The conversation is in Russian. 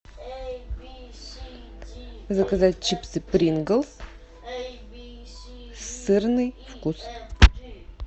заказать чипсы принглс сырный вкус